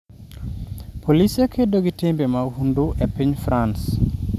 Polise kedo gi timbe mahundu e piny France